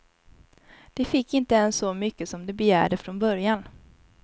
De fick inte ens så mycket som de begärde från början.